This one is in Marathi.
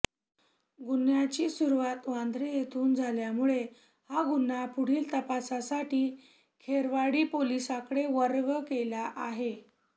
गुन्ह्याची सुरुवात वांद्रे येथून झाल्यामुळे हा गुन्हा पुढील तपासासाठी खेरवाडी पोलिसांकडे वर्ग केली आहे